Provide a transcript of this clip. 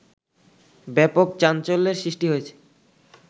ব্যাপক চাঞ্চল্যের সৃষ্টি হয়েছে